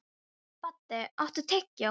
Baddi, áttu tyggjó?